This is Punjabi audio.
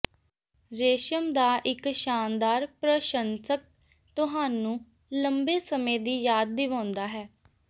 ਰੇਸ਼ਮ ਦਾ ਇੱਕ ਸ਼ਾਨਦਾਰ ਪ੍ਰਸ਼ੰਸਕ ਤੁਹਾਨੂੰ ਲੰਬੇ ਸਮੇਂ ਦੀ ਯਾਦ ਦਿਵਾਉਂਦਾ ਹੈ